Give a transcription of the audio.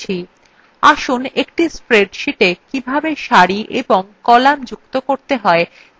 আসুন একটি spreadsheeta কিভাবে সারি এবং কলাম যুক্ত করতে হয় to আলোচনার মধ্যে এই tutorial শুরু করা যাক